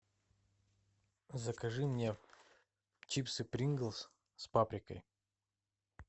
закажи мне чипсы принглс с паприкой